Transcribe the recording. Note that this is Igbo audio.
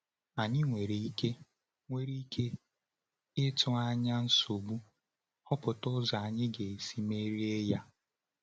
Ànyị nwere ike nwere ike ịtụ anya nsogbu, họpụta ụzọ anyị ga-esi merie ha.